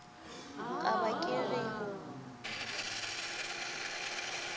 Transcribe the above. ka ba ke re o